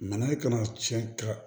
Nana kana tiɲɛ ka